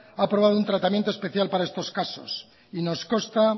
ha aprobado un tratamiento especial para estos casos y nos consta